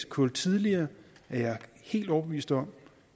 kul tidligere er jeg helt overbevist om